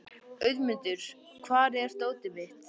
Auðmundur, hvar er dótið mitt?